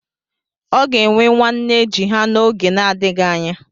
Ọ ga-enwe nwa nne ji ha n'oge na-adịghị anya.